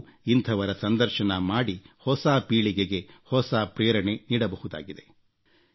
ಅವರೂ ಇಂಥವರ ಸಂದರ್ಶನ ಮಾಡಿ ಹೊಸ ಪೀಳಿಗೆಗೆ ಹೊಸ ಪ್ರೇರಣೆ ನೀಡಬಹುದಾಗಿದೆ